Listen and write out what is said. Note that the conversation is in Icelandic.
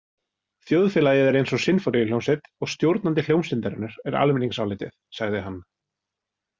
Þjóðfélagið er eins og sinfóníuhljómsveit og stjórnandi hljómsveitarinnar er almenningsálitið, sagði hann.